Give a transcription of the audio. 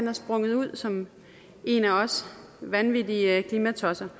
er sprunget ud som en af os vanvittige klimatosser